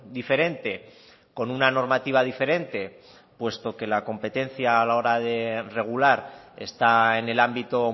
diferente con una normativa diferente puesto que la competencia a la hora de regular está en el ámbito